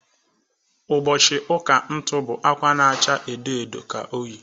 Ụbọchị ụka ntu bụ akwa na-acha ododo ka o yi.